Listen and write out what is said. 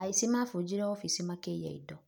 Aici mafujire ofici makĩiya indo.